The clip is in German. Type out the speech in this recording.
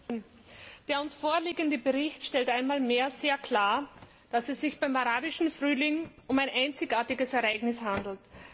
Herr Präsident! Der uns vorliegende Bericht stellt einmal mehr sehr klar, dass es sich beim Arabischen Frühling um ein einzigartiges Ereignis handelt.